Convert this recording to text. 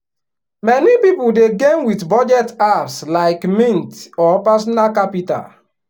many people dey gain with budget apps like mint or personal capital.